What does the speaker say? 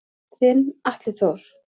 Þinn Atli Þór.